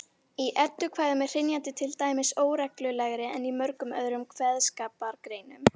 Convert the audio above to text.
Í eddukvæðum er hrynjandi til dæmis óreglulegri en í mörgum öðrum kveðskapargreinum.